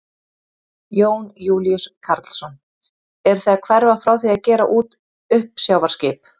Jón Júlíus Karlsson: Eruð þið að hverfa frá því að gera út uppsjávarskip?